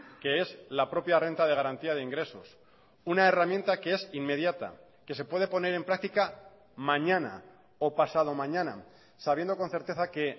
que es la propia renta de garantía de ingresos una herramienta que es inmediata que se puede poner en práctica mañana o pasado mañana sabiendo con certeza que